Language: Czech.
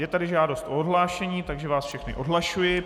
Je tady žádost o odhlášení, takže vás všechny odhlašuji.